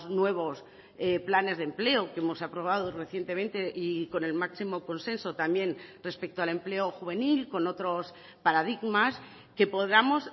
nuevos planes de empleo que hemos aprobado recientemente y con el máximo consenso también respecto al empleo juvenil con otros paradigmas que podamos